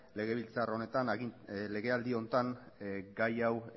legebiltzar honetan legealdi honetan gai hau